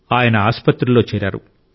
ఆయన ఆసుపత్రిలో చేరారు